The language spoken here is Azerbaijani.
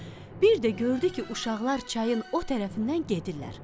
Bir də gördü ki, uşaqlar çayın o tərəfindən gedirlər.